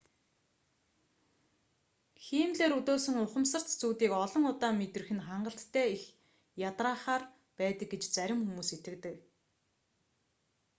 хиймлээр өдөөсөн ухамсарт зүүдийг олон удаа мэдрэх нь хангалттай их ядраахаар байдаг гэж зарим хүмүүс итгэдэг